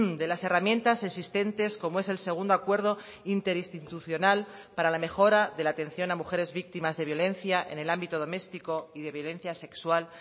de las herramientas existentes como es el segundo acuerdo interinstitucional para la mejora de la atención a mujeres víctimas de violencia en el ámbito doméstico y de violencia sexual